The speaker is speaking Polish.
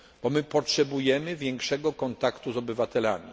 Bo potrzebujemy większego kontaktu z obywatelami.